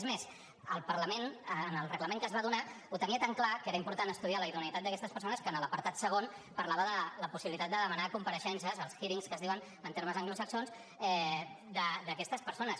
és més el parlament en el reglament que es va donar ho tenia tan clar que era important estudiar la idoneïtat d’aquestes persones que en l’apartat segon parlava de la possibilitat de demanar compareixences els hearings que es diuen en termes anglosaxons d’aquestes persones